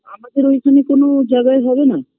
আমাদের ওইখানে কোনোও জায়গায় হবে না